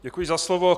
Děkuji za slovo.